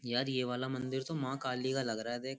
यार ये वाला मंदिर तो मां काली का लग रहा है देख --